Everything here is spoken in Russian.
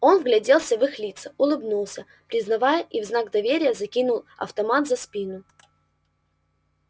он вгляделся в их лица улыбнулся признавая и в знак доверия закинул автомат за спину